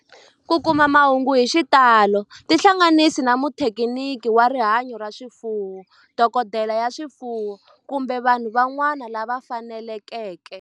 Ku kuma mahungu hi xitalo tihlanganisi na muthekiniki wa rihanyo ra swifuwo, dokodela ya swifuwo, kumbe vanhu van'wana lava fanelekeke